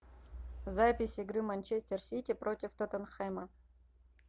запись игры манчестер сити против тоттенхэма